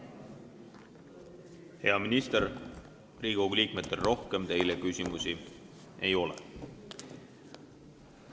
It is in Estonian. Hea minister, Riigikogu liikmetel teile rohkem küsimusi ei ole.